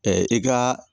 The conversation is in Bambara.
i ka